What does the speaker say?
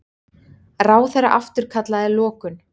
Ráðherra afturkallaði lokun